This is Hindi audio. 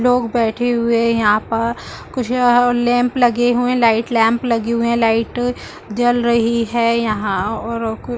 लोग बैठे हुए है यहाँ पर कुछ लैंप लगे हुए लाइट लैंप लगे हुए है लाइट जल रही है यहाँ और कुछ --